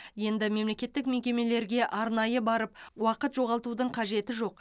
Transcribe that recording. енді мемлекеттік мекемелерге арнайы барып уақыт жоғалтудың қажеті жоқ